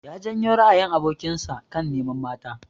Ya janyo ra'ayin abokin sa kan neman mata.